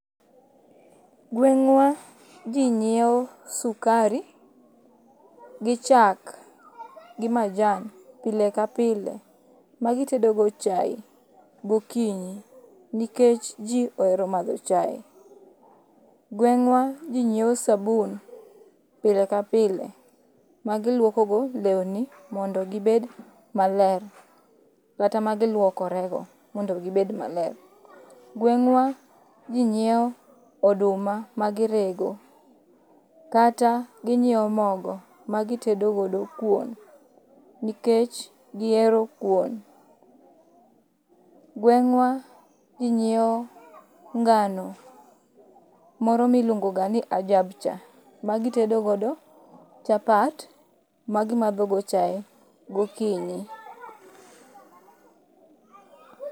Gweng'wa ji ng'iewo sukari gi chak gi majan pile ka pile magitedo go chae gokinyi. Nikech ji ohero madho chae. Gweng'wa ji ng'iewe sabun pile kapile magiluoko go lewni mondo gibed maler, kata magiluokorego mondo gibed maler. Gweng'wa ji nyiewo oduma magirego, kata ginyiewo mogo magitedo godo kuon nikech gihero kuon. Gweng'wa ji nyiewo ngano moro miluongo ga ni Ajab cha, magitedo godo chapat magimadho godo chae gokinyi.